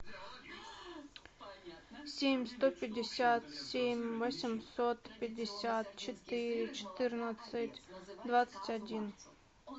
семь сто пятьдесят семь восемьсот пятьдесят четыре четырнадцать двадцать один